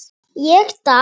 Ég datt.